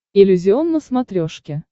иллюзион на смотрешке